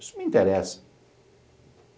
Isso não me interessa.